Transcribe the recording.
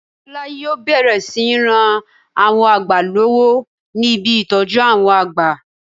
Tọ̀lá yíò bẹ̀rẹ̀ sí ní ran àwọn àgbà lọ́wọ́ ní ibi ìtọ́jú àwọn àgbà